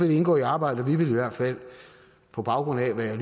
det indgå i arbejdet og vi vil i hvert fald på baggrund af hvad jeg